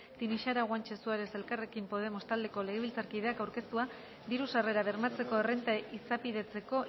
tinixara guanche suárez elkarrekin podemos taldeko legebiltzarkideak aurkeztua diru sarrerak bermatzeko errenta izapidetzeko